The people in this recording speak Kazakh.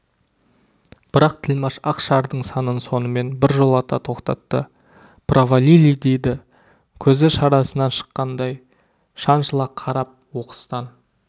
бірақ тілмаш ақ шардың санын сонымен біржолата тоқтатты провалили деді көзі шарасынан шыққандай шаншыла қарап оқыстан